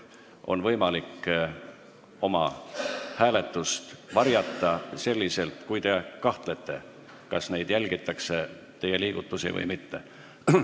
Teil on võimalik oma hääletust varjata, kui te kahtlete, kas teie liigutusi jälgitakse või mitte.